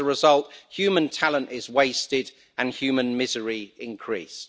As a result, human talent is wasted and human misery increased.